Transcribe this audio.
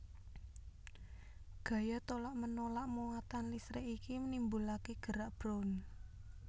Gaya tolak menolak muatan listrik iki nimbulake gerak brown